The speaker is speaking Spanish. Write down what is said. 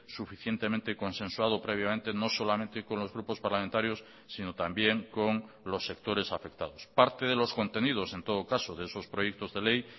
suficientemente consensuado previamente no solamente con los grupos parlamentarios sino también con los sectores afectados parte de los contenidos en todo caso de esos proyectos de ley